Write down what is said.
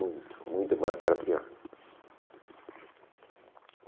Muito, muito, mas para pior.